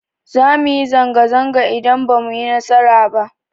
Za mu yi zanga-zanga idan ba mu yi nasara ba.